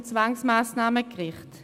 Zum Zwangsmassnahmengericht